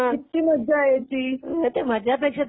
नागपंचमीला. कित्ती मज्जा यायची.